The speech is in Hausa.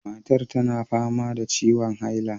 Matar tana fama da ciwon haila.